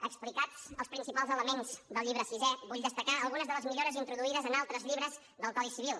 explicats els principals elements del llibre sisè vull destacar algunes de les millores introduïdes en altres llibres del codi civil